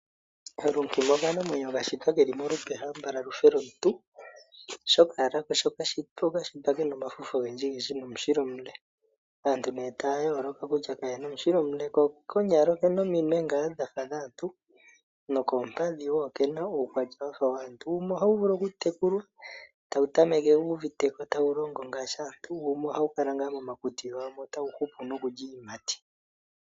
Lunkima okanamweyo ka shitwa keli molupe hambala lu fe lwomuntu oshoka owala sho ko ka shitwa oka shitwa kana omafufu ogendjigndji nomushila omule. Aanut ne ta yooloka kutya kayena omushila omule. Ko konyala okena ngaa ominwe dhafa dhomuntu nokoompadhi wo okena uukwatya wafa waantu. Wumwe ohawu vulu okutekulwa tawu tameke wu uvite ko tawu longo ngaashi aantu. Wumwe ohawu kala ngaa momakuti gawo mo tawu hupu momulya iiyimati.